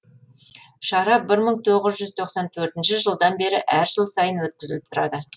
шара бір мың тоғыз жүз тоқсан төртінші жылдан бері әр жыл сайын өткізіліп тұрады